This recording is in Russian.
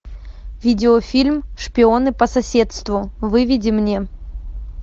видеофильм шпионы по соседству выведи мне